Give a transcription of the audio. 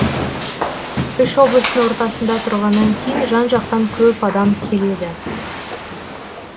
үш облыстың ортасында тұрғаннан кейін жан жақтан көп адам келеді